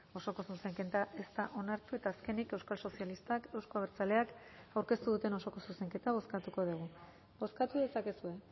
osoko zuzenketa ez da onartu eta azkenik euskal sozialistak euzko abertzaleak aurkeztu duten osoko zuzenketa bozkatuko dugu bozkatu dezakezue